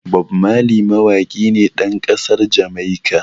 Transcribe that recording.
Bob Marley mawaƙi ne ɗan ƙasar Jamaica.